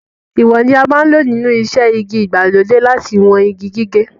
Ìwọ̀n ni a máa ń lò nínú iṣẹ́ igi ìgbàlódé láti wọn igi gígé.